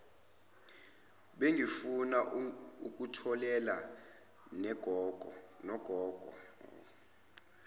bengifuna ukutholela nogogo